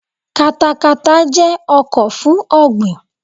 Katakata jẹ́ ọkọ̀ fún ọ̀ọ̀gbìn.